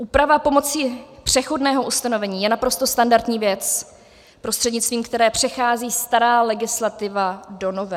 Úprava pomocí přechodného ustanovení je naprosto standardní věc, prostřednictvím které přechází stará legislativa do nové.